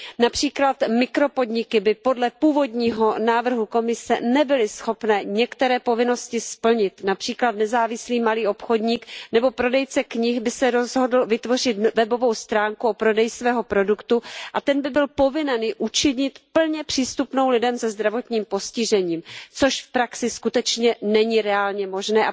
Například mikropodniky by podle původního návrhu Komise nebyly schopné některé povinnosti splnit, například nezávislý malý obchodník nebo prodejce knih by se rozhodl vytvořit webovou stránku o prodeji svého produktu a ten by byl povinen ji učinit plně přístupnou lidem se zdravotním postižením, což v praxi skutečně není reálně možné.